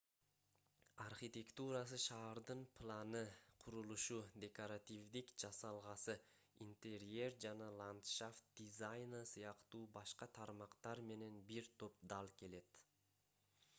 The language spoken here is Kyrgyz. архитектурасы шаардын планы курулушу декоративдик жасалгасы интерьер жана ландшафт дизайны сыяктуу башка тармактар менен бир топ дал келет